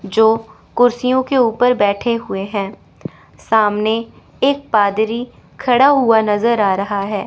जो कुर्सियों के ऊपर बैठे हुए हैं सामने एक पादरी खड़ा हुआ नजर आ रहा है।